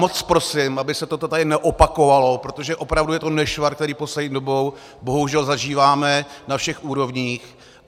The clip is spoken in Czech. Moc prosím, aby se toto tady neopakovalo, protože opravdu je to nešvar, který poslední dobou bohužel zažíváme na všech úrovních.